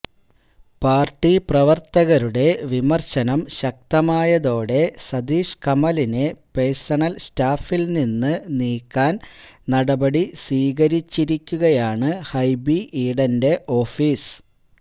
party പ്രവര്ത്തകരുടെ വിമര്ശനം ശക്തമായതോടെ സതീഷ് കമലിനെ പഴ്സണല് സ്റ്റാഫില് നിന്ന് നീക്കാന് നടപടി സ്വീകരിച്ചിരിക്കുകയാണ് ഹൈബി ഈഡന്റെ ഓഫീസ്